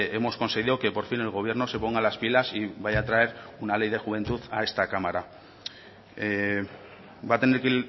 hemos conseguido que por fin el gobierno se ponga las pilas y vaya a traer una ley de juventud a esta cámara va a tener que